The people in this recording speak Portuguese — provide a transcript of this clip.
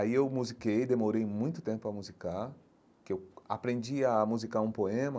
Aí eu musiquei, demorei muito tempo para musicar, porque eu aprendi a musicar um poema,